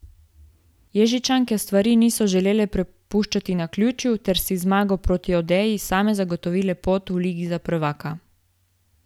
Ježičanke stvari niso želele prepuščati naključju ter si z zmago proti Odeji same zagotovile pot v Ligo za prvaka.